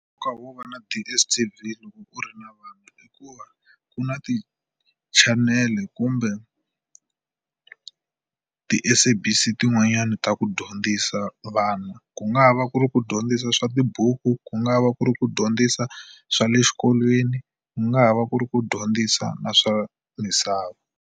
Nkoka wo va na DSTV loko u ri na vana i ku va ku na tichanele kumbe ti SABC tin'wanyana ta ku dyondzisa vana. Ku nga ha va ku ri ku dyondzisa swa tibuku, ku nga va ku ri ku dyondzisa swa le xikolweni, ku nga ha va ku ri ku dyondzisa na swa misava.